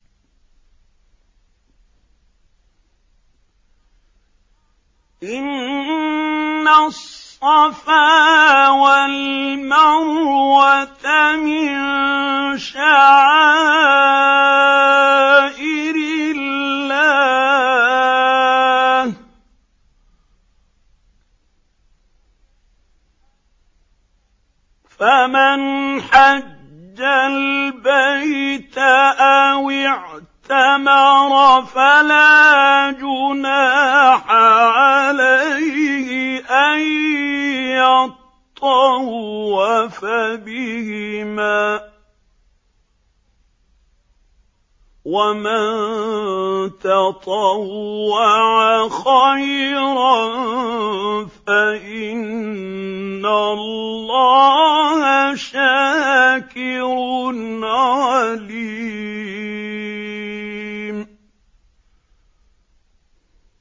۞ إِنَّ الصَّفَا وَالْمَرْوَةَ مِن شَعَائِرِ اللَّهِ ۖ فَمَنْ حَجَّ الْبَيْتَ أَوِ اعْتَمَرَ فَلَا جُنَاحَ عَلَيْهِ أَن يَطَّوَّفَ بِهِمَا ۚ وَمَن تَطَوَّعَ خَيْرًا فَإِنَّ اللَّهَ شَاكِرٌ عَلِيمٌ